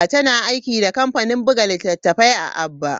Tana aiki da kamfanin buga littattafai a Aba.